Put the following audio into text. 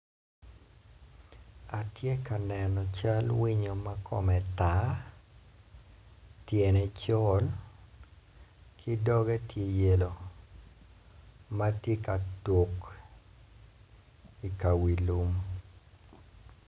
Atye ka neno cal winyo ma kome tar tyene col ki doge tye yelo ma ty eka tuk i wiyamo.